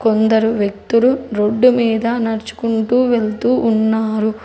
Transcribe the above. కొందరు వ్యక్తులు రోడ్డు మీద నడుచుకుంటూ వెళ్తూ ఉన్నారు.